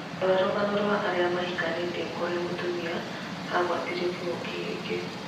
Rora rũgano rwa arĩa mahikanĩtie kũrĩa mũtumia agwatĩtio kĩng'uki gĩkĩ